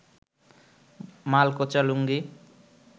মালকোঁচা লুঙ্গি